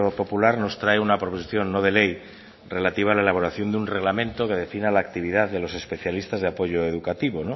popular nos trae una proposición no de ley relativa a la elaboración de un reglamento que defina la actividad de los especialistas de apoyo educativo